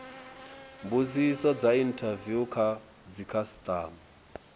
mbudziso dza inthaviwu kha dzikhasitama